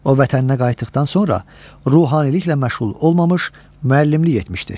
O vətəninə qayıtdıqdan sonra ruhaniliklə məşğul olmamış, müəllimlik etmişdi.